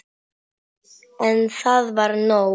En það var nóg.